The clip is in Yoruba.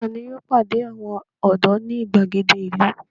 Ta ni yóò pàdé àwọn ọ̀dọ́ ní ìgbàgede ìlú?